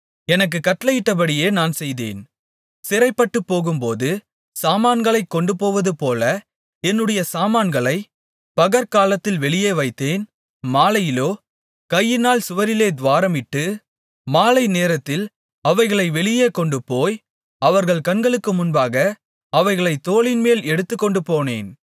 எனக்குக் கட்டளையிட்டபடியே நான் செய்தேன் சிறைப்பட்டுப்போகும்போது சாமான்களைக் கொண்டுபோவதுபோல என்னுடைய சாமான்களைப் பகற்காலத்தில் வெளியே வைத்தேன் மாலையிலோ கையினால் சுவரிலே துவாரமிட்டு மாலை நேரத்தில் அவைகளை வெளியே கொண்டுபோய் அவர்கள் கண்களுக்கு முன்பாக அவைகளைத் தோளின்மேல் எடுத்துக்கொண்டுபோனேன்